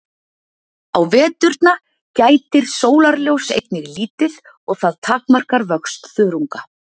á veturna gætir sólarljóss einnig lítið og það takmarkar vöxt þörunga